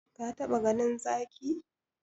Ka taba ganin Zaki?